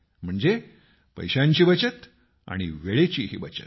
म्हणजे पैशांची बचत आणि वेळेचीही बचत